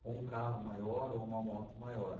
ou um carro maior ou uma moto maior.